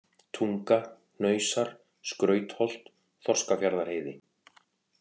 Tunga, Hnausar, Skrautholt, Þorskafjarðarheiði